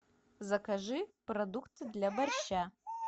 закажи продукты для борща